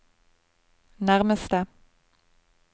nærmeste